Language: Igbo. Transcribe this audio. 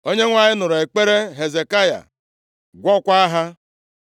Onyenwe anyị nụrụ ekpere Hezekaya gwọọkwa ha.